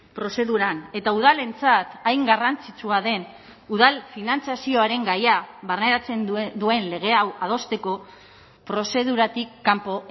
prozeduran eta udalentzat hain garrantzitsua den udal finantzazioaren gaia barneratzen duen lege hau adosteko prozeduratik kanpo